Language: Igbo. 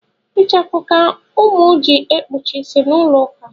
Ichafụ ka ụmụ ji ekpuchi ịsị n’ụlọuka